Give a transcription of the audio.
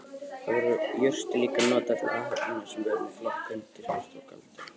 Þá voru jurtir líka notaðar til athafna sem vel má flokka undir hjátrú og galdur.